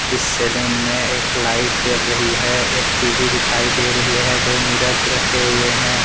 इस सैलून में एक लाइट जल रही है एक टीवी दिखाई दे रही है दो मिरर रखे हुए हैं।